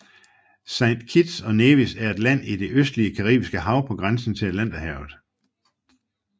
Saint Kitts og Nevis er et land i det østlige Caribiske Hav på grænsen til Atlanterhavet